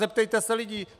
Zeptejte se lidí!